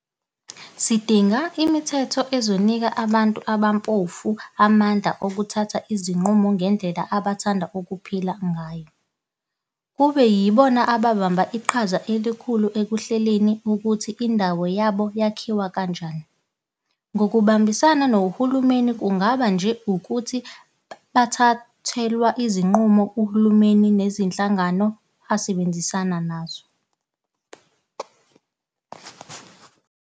Sidinga imithetho ezonika abantu abampofu amandla okuthatha izinqumo ngendlela abathanda ukuphila ngayo, kubeyibo ababamba iqhaza elikhulu ekuhleleni ukuthi indawo yabo yakhiwe kanjani ngokubambisana nohulumeni kungabi nje ukuthi bathathwelwa izinqumo uhulumeni nezinhlangano asebenzisana nazo.